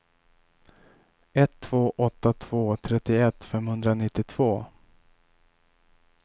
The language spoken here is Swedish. ett två åtta två trettioett femhundranittiotvå